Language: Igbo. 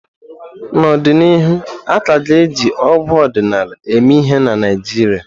N'ọdịnihu, a ka ga-eji ọgwụ ọdịnala eme ihe na Naijiria.